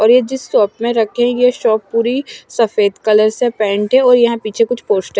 और ये जिस शॉप में रखी है ये शॉप पूरी सफ़ेद कलर से पेंट है और यहाँ पीछे कुछ पोस्टर --